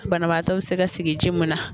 Banabaatɔ bɛ se ka sigi ji mun na.